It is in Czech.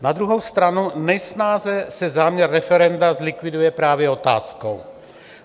Na druhou stranu nejsnáze se záměr referenda zlikviduje právě otázkou.